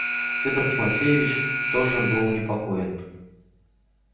федор тимофеевич тоже был непокоен